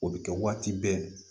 O bɛ kɛ waati bɛɛ